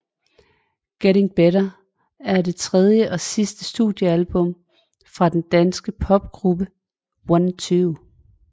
Getting Better er det tredje og sidste studiealbum fra den danske popgruppe OneTwo